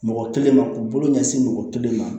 Mɔgɔ kelen ma k'u bolo ɲɛsin mɔgɔ kelen ma